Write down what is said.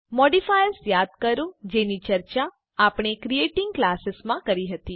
modifiers યાદ કરો જેની ચર્ચા આપણે ક્રિએટિંગ ક્લાસીસ માં કરી હતી